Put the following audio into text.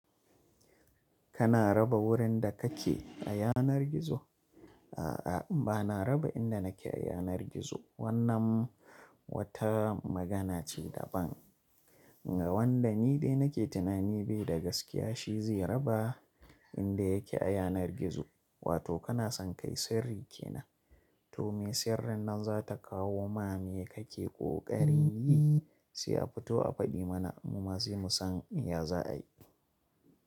Kana raba wurin da kake a yanar gizo? A'a, ba na raba inda nake a yanar gizo. Wannan wata magana ce da ban ga wanda ni dai nake tunani bai da gaskiya shi zai raba inda yake a yanar gizo. Wato kana son kai sirri kenan, to me sirrin nan za ta kawo ma me kake ƙoƙari yi? Sai a fito a faɗi mana mu ma sai musan ya za a yi.